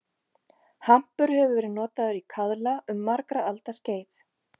Hampur hefur verið notaður í kaðla um margra alda skeið.